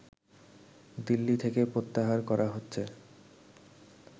দিল্লি থেকে প্রত্যাহার করা হচ্ছে